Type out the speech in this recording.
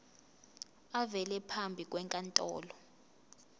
avele phambi kwenkantolo